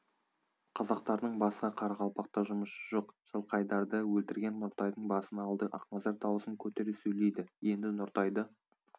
қазақтардың басқа қарақалпақта жұмысы жоқ жылқайдарды өлтірген нұртайдың басын алды ақназар дауысын көтере сөйлейді енді нұртайды